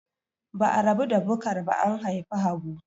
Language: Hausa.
Ba'a rabu da Bukar ba an haifi Habu.